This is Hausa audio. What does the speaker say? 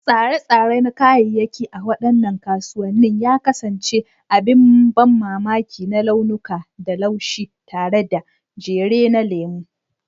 Tsare-tsare na kayayyaki a waɗannan kasuwanni ya kasance abin ban mamaki na launuka da laushi, tare da jere na lemu.